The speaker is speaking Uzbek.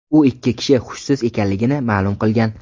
U ikki kishi hushsiz ekanligini ma’lum qilgan.